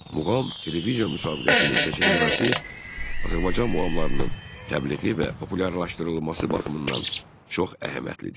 Muğam televiziya müsabiqəsinin keçirilməsi Azərbaycan muğamlarının təbliği və populyarlaşdırılması baxımından çox əhəmiyyətlidir.